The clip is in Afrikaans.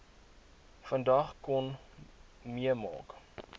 vandag kon meemaak